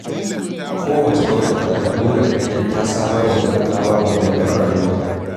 Kowace gwamnati na da burin ganin ta samar wa talakawanta walwalar rayuwa.